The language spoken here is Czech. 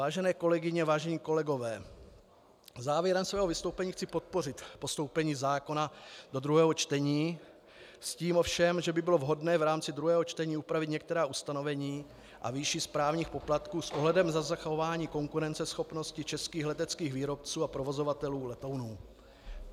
Vážené kolegyně, vážení kolegové, závěrem svého vystoupení chci podpořit postoupení zákona do druhého čtení, s tím ovšem, že by bylo vhodné v rámci druhého čtení upravit některá ustanovení a výši správních poplatků s ohledem na zachování konkurenceschopnosti českých leteckých výrobců a provozovatelů letounů.